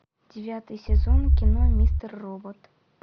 девятый сезон кино мистер робот